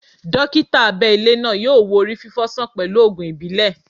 Dókítà abẹ ilé náà yọ wo orí fifo sàn pẹlu ògùn ìbílẹ̀